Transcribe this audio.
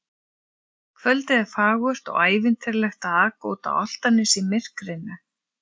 Kvöldið er fagurt og ævintýralegt að aka út á Álftanes í myrkrinu.